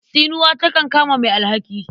Tsinuwa takan kama mai alhaki.